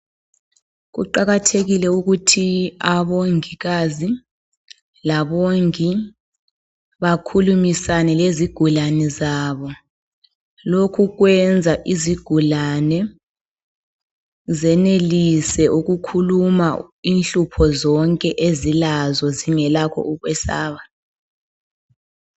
Kuqakathekile ukuthi abongikazi labongi bakhulumisane lezigulane zabo. Lokhu kwenza izigulane, zenelise ukukhuluma inhlupho zonke ezilazo. Zingalakho ukwesaba.